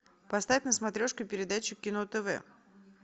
поставь на смотрешке передачу кино тв